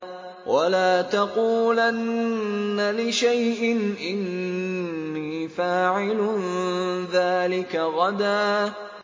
وَلَا تَقُولَنَّ لِشَيْءٍ إِنِّي فَاعِلٌ ذَٰلِكَ غَدًا